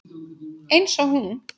Eins og hún.